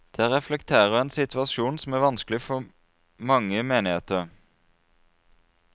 Det reflekterer en situasjon som er vanskelig for mange menigheter.